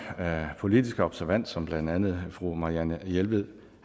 politiske observans som blandt andet fru marianne jelved